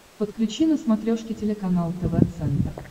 подключи на смотрешке телеканал тв центр